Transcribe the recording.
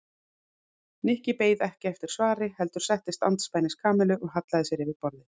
Nikki beið ekki eftir svari heldur settist andspænis Kamillu og hallaði sér yfir borðið.